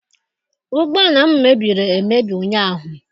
Ụgbọala m mebiri emebi ụnyaahụ.